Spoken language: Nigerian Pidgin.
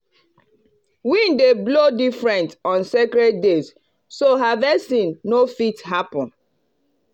wind dey blow different on sacred days so harvesting no fit happen.